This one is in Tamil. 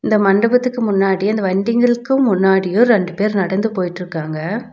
இந்த மண்டபத்துக்கு முன்னாடி அந்த வண்டிங்களுக்கு முன்னாடியு ரெண்டு பேர் நடந்து போயிட்ருக்காங்க.